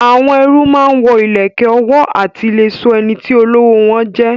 Àwọn ẹrú máa ń wo ìlẹ̀kẹ̀ ọwọ́ láti lè sọ ẹniti olówó wọn jẹ